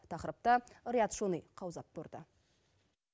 тақырыпты риат шони қаузап көрді